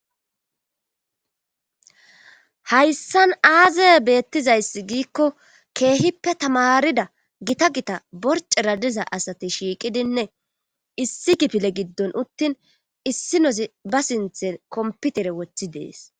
Hayssan aazaye beettizayssi giikko keehippe tamarida gita gita borce radiza asati shiiqidinne issi kipile giddon uttin issi nozi ba sinthe komputere wothi dees.